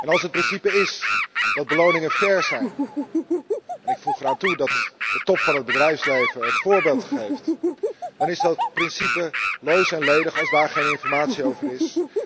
Als het principe is dat beloningen fair moeten zijn en ik voeg eraan toe dat de top van het bedrijfsleven het voorbeeld geeft dan is dat principe loos en ledig als daar geen informatie over is.